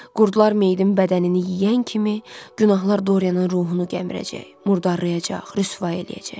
Qurdlar meyidin bədənini yeyən kimi günahlar Dorianın ruhunu gəmirəcək, murdarlayacaq, rüsvay eləyəcək.